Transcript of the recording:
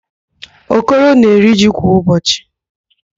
Okoro na-eri ji kwa ụbọchị.